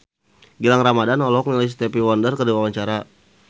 Gilang Ramadan olohok ningali Stevie Wonder keur diwawancara